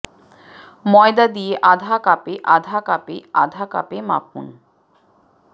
ময়দা দিয়ে আধা কাপে আধা কাপে আধা কাপে মাখুন